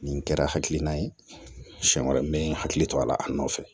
Nin kɛra hakilina ye siɲɛ wɛrɛ n bɛ hakili to a la a nɔfɛ